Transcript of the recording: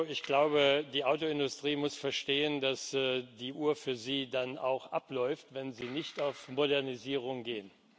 Ich glaube, die Autoindustrie muss verstehen, dass die Uhr für sie dann auch abläuft, wenn sie nicht auf Modernisierung geht.